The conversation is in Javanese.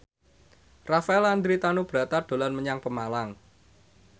Rafael Landry Tanubrata dolan menyang Pemalang